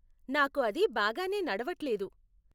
నాకు అది బాగానే నడవట్లేదు.